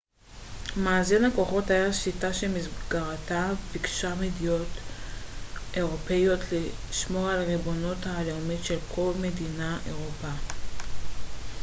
מאזן הכוחות היה שיטה שבמסגרתה ביקשו מדינות אירופיות לשמור על הריבונות הלאומית של כל מדינות אירופה